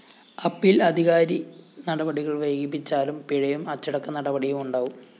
appeal അധികാരി നടപടികള്‍ വൈകിപ്പിച്ചാലും പിഴയും അച്ചടക്കനടപടിയുണ്ടാവും